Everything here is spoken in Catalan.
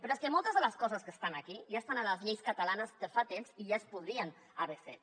però és que moltes de les coses que estan aquí ja estan a les lleis catalanes de fa temps i ja es podrien haver fet